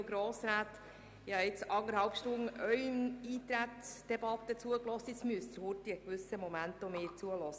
Nun müssen auch Sie mir einen Moment lang zuhören.